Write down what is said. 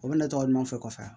O bɛna ne tɔgɔ ɲuman fɛ